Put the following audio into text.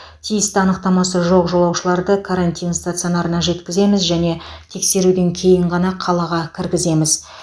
тиісті анықтамасы жоқ жолаушыларды карантин стационарына жеткіземіз және тексеруден кейін ғана қалаға кіргіземіз